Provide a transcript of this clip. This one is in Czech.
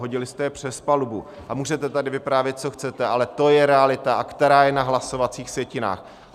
Hodili jste je přes palubu a můžete tady vyprávět, co chcete, ale to je realita, která je na hlasovacích sjetinách.